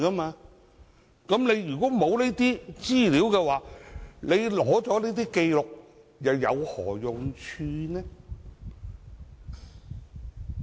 沒有這些資料，即使取得交易紀錄又有何用處呢？